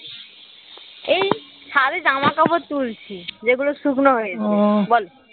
এই ছাদে জামাকাপড় তুলছি যে গুলো শুকনো হয়েছে বলো?